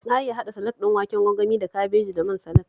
Na iya haɗa salak ɗin waken gwangwani da kabeji da man salak